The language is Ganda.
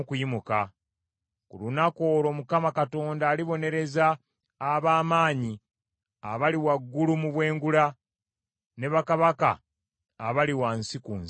Ku lunaku olwo Mukama Katonda alibonereza ab’amaanyi abali waggulu mu bwengula, ne bakabaka abali wansi ku nsi.